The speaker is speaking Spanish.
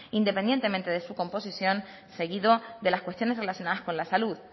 independientemente de su composición seguido de las cuestiones relacionadas con la salud